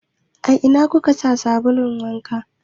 A ina kuka sa sabulun wanka?